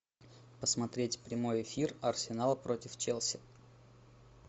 посмотреть прямой эфир арсенал против челси